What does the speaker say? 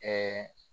Ɛɛ